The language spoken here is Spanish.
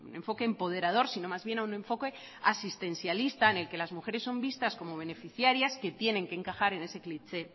enfoque empoderador sino más bien a un enfoque asistencialista en las que las mujeres son vistas como beneficiarias que tiene que encajar en ese cliché